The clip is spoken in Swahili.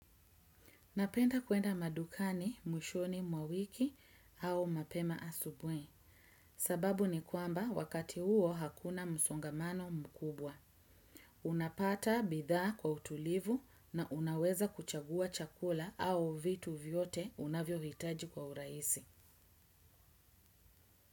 Napenda kuenda madukani, mwishoni, mwawiki au mapema asubuhi. Sababu ni kwamba wakati huo hakuna msongamano mkubwa. Unapata bidhaa kwa utulivu na unaweza kuchagua chakula au vitu vyote unavyo hitaji kwa urahisi.